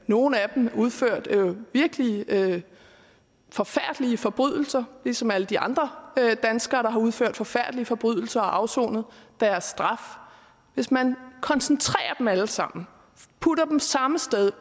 nogle af dem har udført virkelig forfærdelige forbrydelser ligesom alle de andre danskere der har udført forfærdelige forbrydelser og afsonet deres straf hvis man koncentrerer dem alle sammen og putter dem samme sted